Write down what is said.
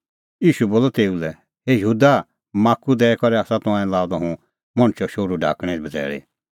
ईशू बोलअ तेऊ लै हे यहूदा माख्खू दैई करै आसा तंऐं लाअ द हुंह मणछो शोहरू ढाकणैं बझ़ैल़ी